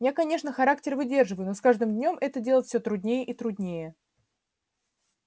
я конечно характер выдерживаю но с каждым днём это делать всё труднее и труднее